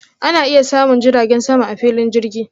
Ana iya samun jiragen sama a filin jirgin.